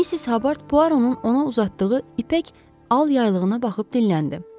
Missis Habard Puaronun ona uzatdığı ipək al yaylığına baxıb dinləndi.